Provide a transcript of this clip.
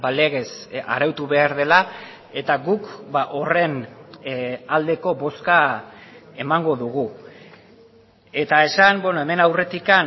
legez arautu behar dela eta guk horren aldeko bozka emango dugu eta esan hemen aurretik